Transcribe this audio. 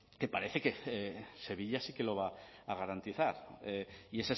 que parece que sevilla sí que lo va a garantizar y